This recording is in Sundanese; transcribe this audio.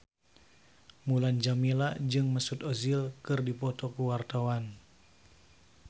Mulan Jameela jeung Mesut Ozil keur dipoto ku wartawan